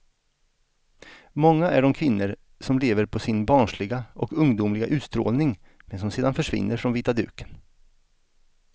Många är de kvinnor som lever på sin barnsliga och ungdomliga utstrålning men som sedan försvinner från vita duken.